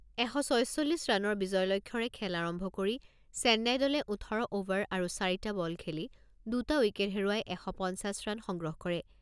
এশ ছয়চল্লিছ ৰানৰ বিজয় লক্ষ্যৰে খেল আৰম্ভ কৰি চেন্নাই দলে ওঠৰ অভাৰ আৰু চাৰিটা বল খেলি দুটা উইকেট হেৰুৱাই এশ পঞ্চাছ ৰান সংগ্ৰহ কৰে।